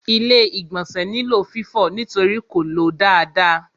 Ilé-ìgbọ̀nsẹ̀ nílò fífọ̀ nítorí kò ló dáadáa.